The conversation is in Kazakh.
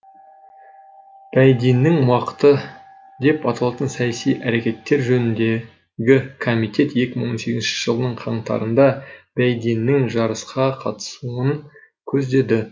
байденнің уақыты деп аталатын саяси әрекеттер жөніндегі комитет екі мың он сегізінші жылдың қаңтарында байденнің жарысқа қатысуын көздеді